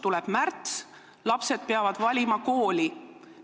Tuleb märts, lapsed peavad valima kooli.